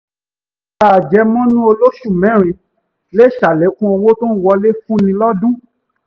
gbígba àjẹmọ́nú olóṣù-mẹ́rin lè sàlékún owó tó ń wọlé fúnni lọ́dún